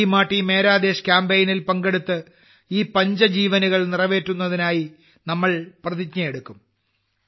Mary Maati Mera Desh കാമ്പെയ്നിൽ പങ്കെടുത്ത് ഈ പഞ്ചജീവനുകൾ നിറവേറ്റുന്നതിനായി നമ്മൾ പ്രതിജ്ഞയെടുക്കും